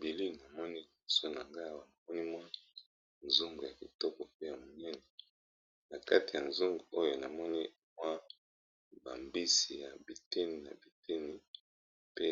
Bili namoni moso na nga awamoni mwa nzung ya kitoko pe ya moneni na kati ya zung oyo namoni mwa bambisi ya biteni na biteni pe